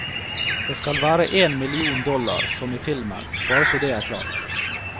Det skal være én million dollar, som i filmen, bare så det er klart.